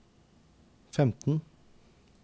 femten